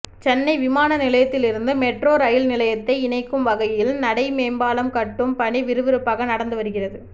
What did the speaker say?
சென்னை விமான நிலையத்திலிருந்து metro rail நிலையத்தை இணைக்கும் வகையில் நடைமேம்பாலம் கட்டும் பணி விறுவிறுப்பாக நடந்து வருகிறது